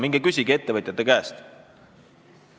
Minge küsige ettevõtjate käest!